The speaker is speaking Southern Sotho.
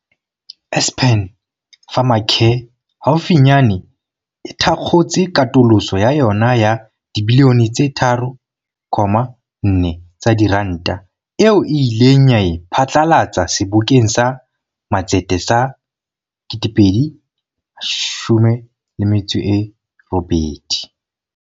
Aspen Pharmacare haufi nyane e thakgotse katoloso ya yona ya dibilione tse 3.4 tsa diranta, eo e ileng ya e pha tlalatsa Sebokeng sa Matsete sa 2018.